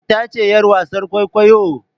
Ita ce yar wasan kwaikwayo?